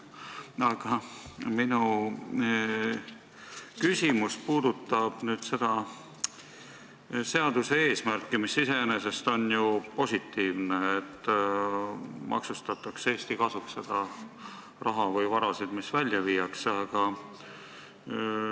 Aga minu küsimus puudutab seaduse eesmärki, mis iseenesest on ju positiivne: maksustada Eesti kasuks seda raha või vara, mis välja viiakse.